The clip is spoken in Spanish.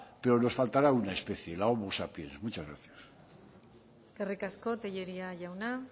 pero nos faltará una especie la homo sapiens muchas gracias eskerrik asko tellería jauna